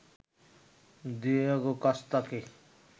Diego কস্তাকে